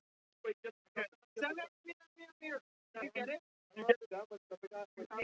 Þyrftum að vera komnir í bæinn eftir klukkutíma.